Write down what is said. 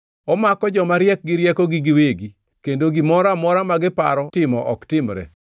Omako joma riek gi riekogi giwegi, kendo gimoro amora ma giparo timo ok timre.